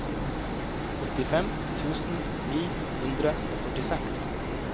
åttifem tusen ni hundre og førtiseks